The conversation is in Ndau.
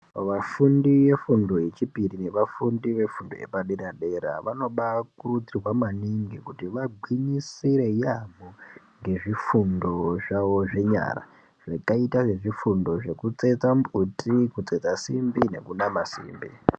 Vafundi ve fundo ye chipiri ne vafundi ve fundo yepa dera dera vano bai kurudzirwa maningi kuti va gwinyisire yamho ngezvi fundo zvawo zve nyara zvakaita se zvifundo zveku tsetsa mbuti ku tsetsa simbi neku nama simbi.